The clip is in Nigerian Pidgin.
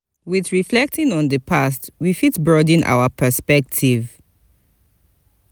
with reflecting on di past we fit broaden our perspective